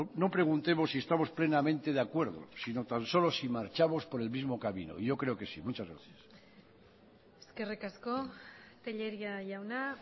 no preguntemos si estamos plenamente de acuerdo si no tan solo si marchamos por el mismo camino yo creo que sí muchas gracias eskerrik asko tellería jauna